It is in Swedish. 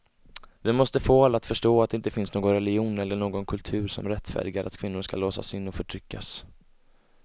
Vi måste få alla att förstå att det inte finns någon religion eller någon kultur som rättfärdigar att kvinnor ska låsas in och förtryckas.